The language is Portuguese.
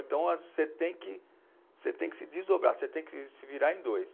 Então, você tem que, você tem que se desdobrar, você tem que se virar em dois.